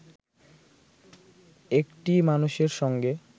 একটি মানুষের সঙ্গে